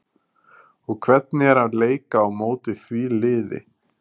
og hvernig er að leika á móti því liði?